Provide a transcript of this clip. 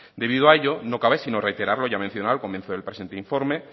debido a ello no cabe sino reiterar lo ya mencionado al comienzo del presente informe